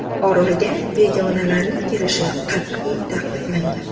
Orolga begonalarning kirishi qat’iy taqiqlangan.